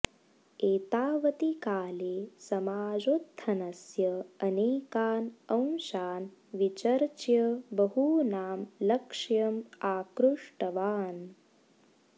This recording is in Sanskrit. एतावति काले समाजोत्थनस्य अनेकान् अंशान् विचर्च्य बहूनां लक्ष्यम् आकृष्टवान्